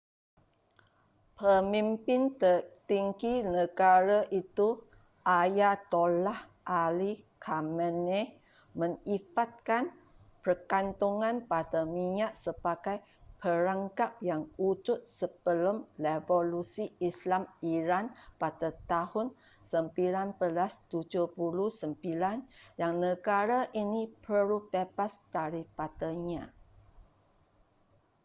pemimpin tertinggi negara itu ayatollah ali khamenei menyifatkan pergantungan pada minyak sebagai perangkap yang wujud sebelum revolusi islam iran pada tahun 1979 yang negara ini perlu bebas daripadanya